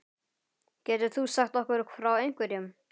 Getur þú sagt okkur frá einhverjum?